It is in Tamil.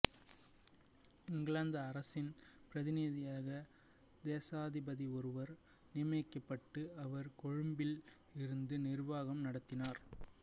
இங்கிலாந்து அரசின் பிரதிநிதியாக தேசாதிபதி ஒருவர் நியமிக்கப்பட்டு அவர் கொழும்பில் இருந்து நிர்வாகம் நடத்தினார்